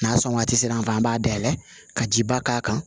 N'a sɔn waati sera an fɛ an b'a dayɛlɛ ka ji ba k'a kan